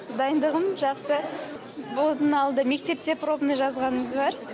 дайындығым жақсы бұдан алды мектепте пробный жазғанымыз бар